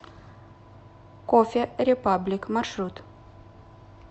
кофе репаблик маршрут